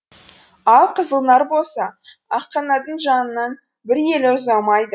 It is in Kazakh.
ал қызылнар болса аққанаттың жанынан бір елі ұзамайды